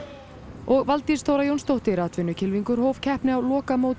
og Valdís Þóra Jónsdóttir atvinnukylfingur hóf keppni á lokamóti